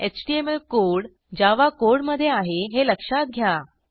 HTML code Java कोडमधे आहे हे लक्षात घ्या